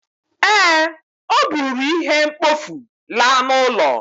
Ee, o buru ihe mkpofu laa n'ụlọ